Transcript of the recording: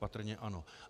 Patrně ano.